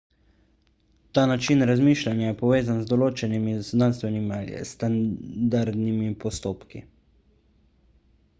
ta način razmišljanja je povezan z določenimi znanstvenimi ali standardnimi postopki